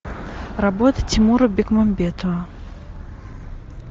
работы тимура бекмамбетова